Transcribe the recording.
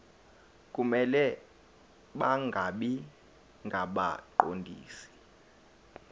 kumele bangabi ngabaqondisi